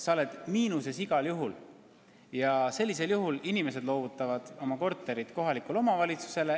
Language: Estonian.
Sa oled miinuses igal juhul ja sellisel juhul inimesed loovutavad oma korteri kohalikule omavalitsusele.